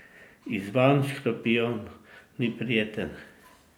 Izzvan škorpijon ni prijeten.